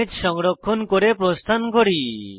image সংরক্ষণ করে প্রস্থান করি